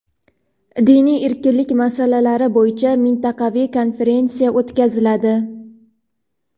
Diniy erkinlik masalalari bo‘yicha mintaqaviy konferensiya o‘tkaziladi.